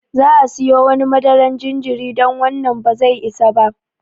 Za'a siyo wani madaran jinjiri don wannan ba zai isa ba.